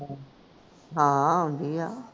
ਹਾਂ ਆਉਂਦੀ ਆ